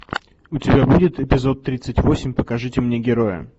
у тебя будет эпизод тридцать восемь покажите мне героя